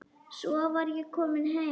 Svo var ég komin heim.